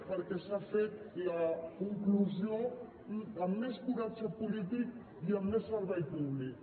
perquè s’ha fet la conclusió amb més coratge polític i amb més servei públic